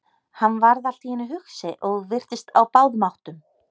Hann varð allt í einu hugsi og virtist á báðum áttum.